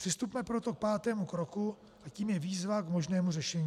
Přistupme proto k pátému kroku a tím je výzva k možnému řešení.